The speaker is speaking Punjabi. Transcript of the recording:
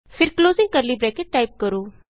ਫਿਰ ਕਲੋਜ਼ਿੰਗ ਕਰਲੀ ਬਰੈਕਟ ਟਾਈਪ ਕਰੋ